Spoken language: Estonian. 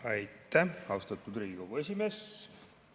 Aitäh, austatud Riigikogu esimees!